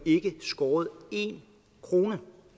skåret én krone